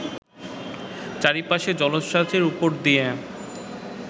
চারিপাশের জলোচ্ছাসের উপর দিয়া